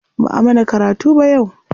Ba'a mana karatu ba yau.